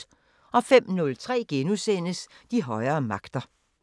05:03: De højere magter *